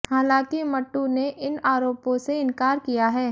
हालांकि मट्टू ने इन आरोपों से इनकार किया है